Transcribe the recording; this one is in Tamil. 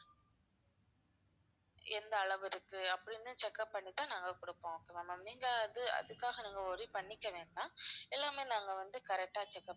எந்த அளவு இருக்கு அப்படின்னு check up பண்ணி தான் நாங்க கொடுப்போம் அதான் ma'am நீங்க அது~ அதுக்காக worry பண்ணிக்க வேண்டாம் எல்லாமே நாங்க வந்து correct ஆ check up